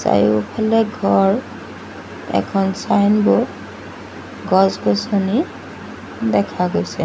চাৰিওফালে ঘৰ এখন ছাইনবোৰ্ড গছ-গছনি দেখা গৈছে।